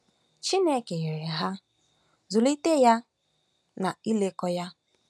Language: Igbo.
Chineke nyere ha “ịzụlite ya na ilekọta ya